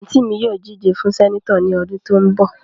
Anti mi ni yoo dije fun Seneto ni odun to n bo.